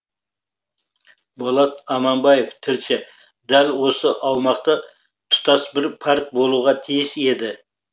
болат аманбаев тілші дәл осы аумақта тұтас бір парк болуға тиіс еді